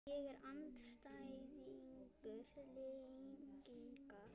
Ég er andstæðingur lyginnar.